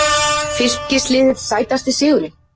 Fylkisliðið Sætasti sigurinn?